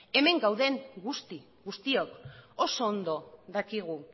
hemen gauden guzti guztiok oso ondo dakigu